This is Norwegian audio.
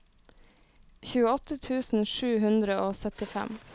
tjueåtte tusen sju hundre og syttifem